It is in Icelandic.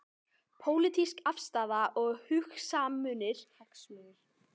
Pólitísk afstaða og hagsmunir ráða þar mestu.